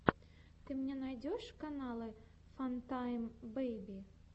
ты мне найдешь каналы фантайм бэйби